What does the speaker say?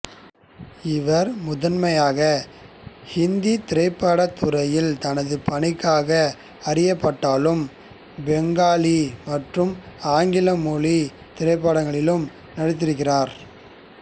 இவர் முதன்மையாக ஹிந்தி திரைப்படத் துறையில் தனது பணிக்காக அறியப்பட்டாலும் பெங்காலி மற்றும் ஆங்கில மொழி திரைப்படங்களிலும் நடித்திருக்கிறார்